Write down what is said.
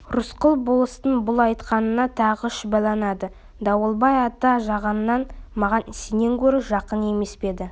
рысқұл болыстың бұл айтқанына тағы шүбәланады дауылбай ата жағынан маған сенен гөрі жақын емес пе еді